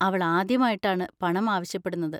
അവൾ ആദ്യമായിട്ടാണ് പണം ആവശ്യപ്പെടുന്നത്.